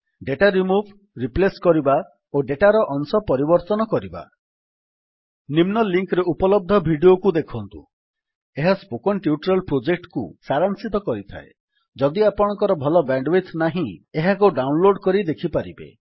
data remove replace କରିବା ଓ ଡେଟାର ଅଂଶ ପରିବର୍ତ୍ତନ କରିବା ନିମ୍ନ ଲିଙ୍କ୍ ରେ ଉପଲବ୍ଧ ଭିଡିଓକୁ ଦେଖନ୍ତୁ ଏହା ସ୍ପୋକେନ୍ ଟ୍ୟୁଟୋରିଆଲ୍ ପ୍ରୋଜେକ୍ଟକୁ ସାରାଂଶିତ କରିଥାଏ ଯଦି ଆପଣଙ୍କର ଭଲ ବ୍ୟାଣ୍ଡୱିଡଥ୍ ନାହିଁ ଏହାକୁ ଡାଉନଲୋଡ୍ କରି ଦେଖିପାରିବେ